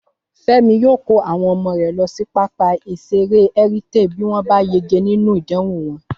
Fẹ́mi yóò kó àwọn ọmọ rẹ̀ lọ sí pápá ìṣeré Heritage bí wọ́n bá yege nínú ìdánwò wọn